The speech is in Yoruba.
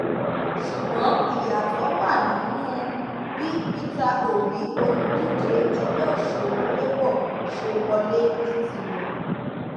ṣùgbọn ìyàtọ wà nínú bí peter obi olùdíje ẹgbẹ òṣèlú labour ṣe wọlé ní tirẹ